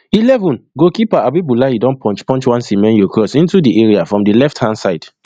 eleven goalkeeper abiboulaye don punch punch one semenyo cross into di area from di left hand side